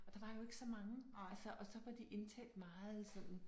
Og der var jo ikke så mange altså og så var de indtalt meget sådan